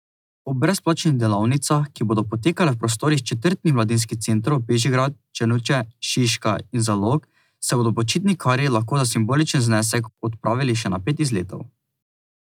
Ob brezplačnih delavnicah, ki bodo potekale v prostorih četrtnih mladinskih centrov Bežigrad, Črnuče, Šiška in Zalog, se bodo počitnikarji lahko za simboličen znesek odpravili še na pet izletov.